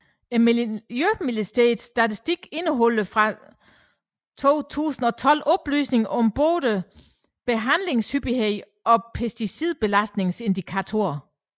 Miljøministeriets statistik indeholder fra 2012 oplysninger om både behandlingshyppighed og pesticidbelastningsindikator